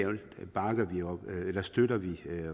alt støtter vi